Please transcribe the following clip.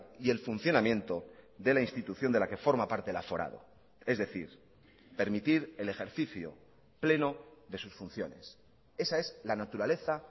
y el funcionamiento de la institución de la que forma parte el aforado es decir permitir el ejercicio pleno de sus funciones esa es la naturaleza